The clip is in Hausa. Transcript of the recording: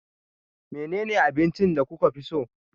Menene abincin da kuka fi so?